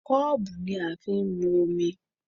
Kọ́ọ̀bù ni a fi ń mu omi